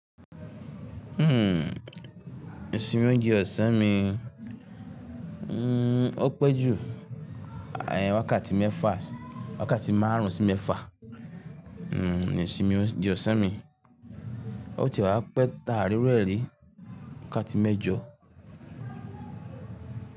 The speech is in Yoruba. Hmm, ìsinmi óúnjẹ ọ̀sán mi, hmm, ó pẹ́ jù ayé wákàtí mẹ́fà, wákàtí márùn-ún sí mẹ́fà, hmm, ni ìsinmi óúnjẹ ọ̀sán mi. Ó ti wá pẹ́ ta àá ri iru ẹ ri wákàtí mẹ́jọ.